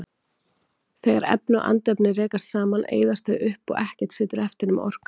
Þegar efni og andefni rekast saman eyðast þau upp og ekkert situr eftir nema orkan.